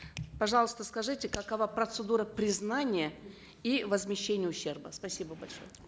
пожалуйста скажите какова процедура признания и возмещения ущерба спасибо большое